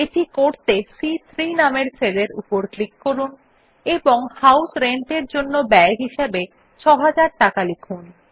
এটি করতে সি3 নামের সেল এর উপর ক্লিক করুন এবং হাউস রেন্ট এর জন্য ব্যয় হিসাবে রূপিস 6000 লিখুন